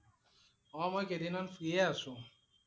অ' মই কেইদিনমান free এ আছো।